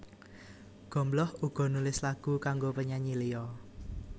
Gombloh uga nulis lagu kanggo penyanyi liya